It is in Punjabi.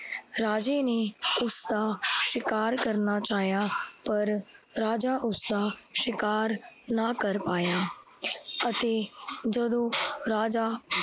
ਰਾਜੇ ਨੇ ਉਸਦਾ ਸ਼ਿਕਾਰ ਕਰਨਾ ਚਾਹਿਆ ਪਰ ਰਾਜਾ ਉਸਦਾ ਸ਼ਿਕਾਰ ਨਾ ਕਰ ਪਾਆ ਅਤੇ ਜਦੋਂ ਰਾਜਾ